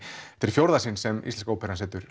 fjórða sinn sem íslenska óperan setur